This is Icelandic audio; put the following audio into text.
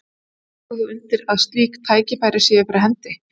Tekur þú undir að slík tækifæri séu fyrir hendi?